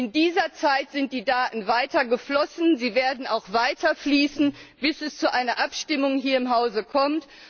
In dieser Zeit sind die Daten weiter geflossen, sie werden auch weiter fließen, bis es zu einer Abstimmung hier im Hause kommt.